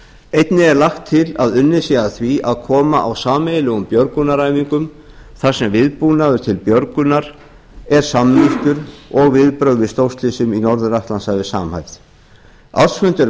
einnig er lagt til að unnið sé að því að koma á sameiginlegum björgunaræfingum þar sem viðbúnaður til björgunar er samnýttur og viðbrögð við stórslysum í norður atlantshafi samhæfð ársfundir